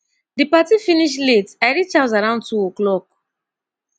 di party finish late i reach house around two oclock